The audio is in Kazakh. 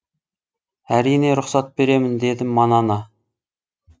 әрине рұқсат беремін деді манана